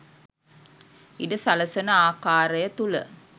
ඉඩ සලසන ආකාරය තුළ